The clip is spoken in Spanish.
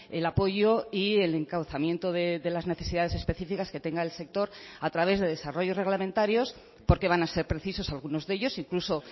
el apoyo y el encauzamiento de las necesidades específicas que tenga el sector a través de desarrollos reglamentarios porque van a ser precisos algunos de ellos incluso